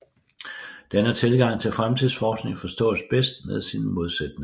Denne tilgang til fremtidsforskning forstås bedst med sin modsætning